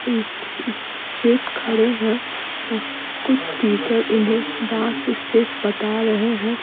Straight खड़े हैं कुछ टीचर इन्हें डांस स्टेप बता रहे हैं।